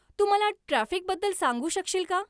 तू मला ट्राफिकबद्दल सांगू शकशील का